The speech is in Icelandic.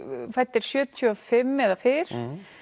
fæddir sjötíu og fimm eða fyrr